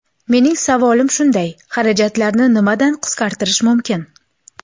Mening savolim shunday: xarajatlarni nimadan qisqartirish mumkin?